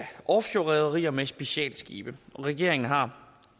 offshorerederier med specialskibe og regeringen har